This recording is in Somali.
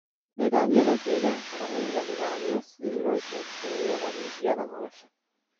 Nidaamyada deegaanka waa in la ilaaliyo si loo joogteeyo wareegyada nolosha.